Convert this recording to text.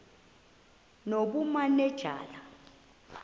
nobumanejala